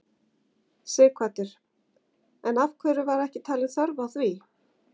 Sighvatur: En af hverju var ekki talin þörf á því?